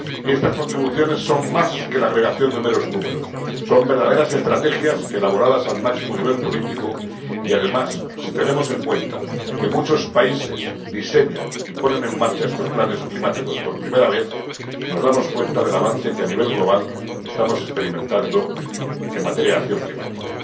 Estas contribuciones son más que la redacción de meros números, son verdaderas estrategias elaboradas al máximo nivel político y, además, si tenemos en cuenta que muchos países diseñan y ponen en marcha estos planes climáticos por primera vez, nos damos cuenta del avance que a nivel global estamos experimentando en materia de acción climática.